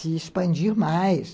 se expandir mais.